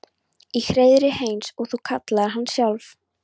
Í hreiðrið eins og þú kallaðir hana sjálf.